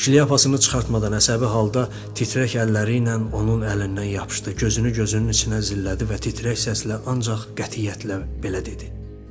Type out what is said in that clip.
Şlyapasını çıxartmadan əsəbi halda titrək əlləri ilə onun əlindən yapışdı, gözünü gözünün içinə zillədi və titrək səslə ancaq qətiyyətlə belə dedi.